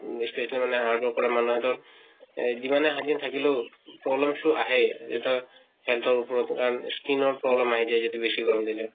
বেছি এইটো মানে hard work কৰা মানুহে টো য়ে যিমানে শান্তিত থাকিলেও, problem টো আহে। তা হেন-তৰ উপৰত কাৰণ skin ৰ problem আহি যায় যদি বেছি গৰম দিলে।